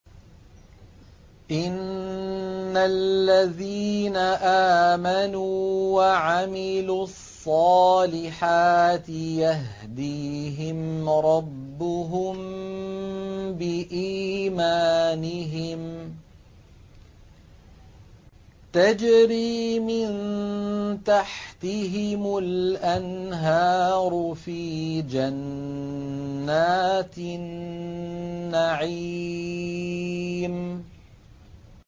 إِنَّ الَّذِينَ آمَنُوا وَعَمِلُوا الصَّالِحَاتِ يَهْدِيهِمْ رَبُّهُم بِإِيمَانِهِمْ ۖ تَجْرِي مِن تَحْتِهِمُ الْأَنْهَارُ فِي جَنَّاتِ النَّعِيمِ